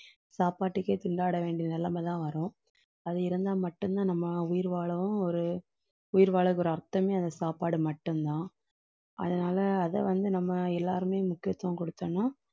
சாப்பாட்டுக்கே திண்டாட வேண்டிய நிலைமைதான் வரும். அது இருந்தா மட்டும்தான் நம்ம உயிர் வாழவும் ஒரு உயிர் வாழறதுக்கு ஒரு அர்த்தமே அந்த சாப்பாடு மட்டும்தான். அதனாலே அதை வந்து நம்ம எல்லாருமே முக்கியத்துவம் கொடுத்தோம்ன்னா